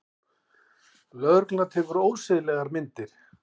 Lögregla tekur ósiðlegar myndir